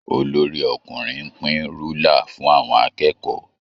Olorí-ọkùnrin ń pín rúlà fún àwọn akẹ́kọ̀ọ́